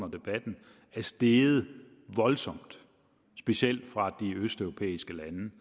debatten er steget voldsomt specielt fra de østeuropæiske